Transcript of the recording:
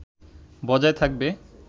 বজায় থাকবে”